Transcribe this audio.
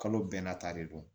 Kalo bɛɛ n'a ta de don